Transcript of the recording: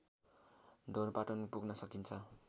ढोरपाटन पुग्न सकिन्छ